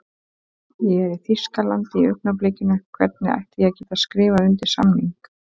Ég er í Þýskalandi í augnablikinu, hvernig ætti ég að geta skrifað undir samning?